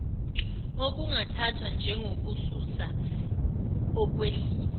okungathathwa njengokususa ukwehlisa